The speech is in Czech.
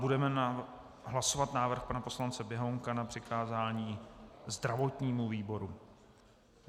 Budeme hlasovat návrh pan poslance Běhounka na přikázání zdravotnímu výboru.